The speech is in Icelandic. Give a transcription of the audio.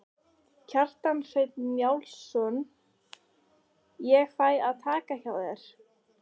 Kjartan Hreinn Njálsson: Ég fæ að taka hjá þér?